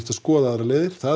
skoða aðrar leiðir það